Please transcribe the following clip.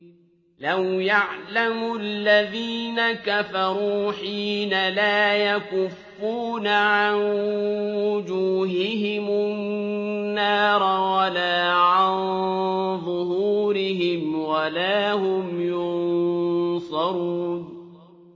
لَوْ يَعْلَمُ الَّذِينَ كَفَرُوا حِينَ لَا يَكُفُّونَ عَن وُجُوهِهِمُ النَّارَ وَلَا عَن ظُهُورِهِمْ وَلَا هُمْ يُنصَرُونَ